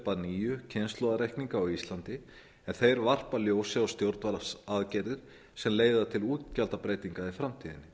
að nýju kynslóðareikninga á íslandi en þeir varpa ljósi á stjórnvaldsaðgerðir sem leiða til útgjaldabreytinga í framtíðinni